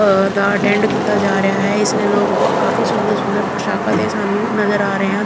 ਅ ਦਾ ਅਟੈਂਡ ਕੀਤਾ ਜਾ ਰਿਹਾ ਹੈ ਇਸ ਲਈ ਲੋਕ ਕਾਫੀ ਸੁੰਦਰ ਸੁੰਦਰ ਪੋਸ਼ਾਕਾ ਤੇ ਸਾਨੂੰ ਨਜ਼ਰ ਆ ਰਹੇ ਹਨ।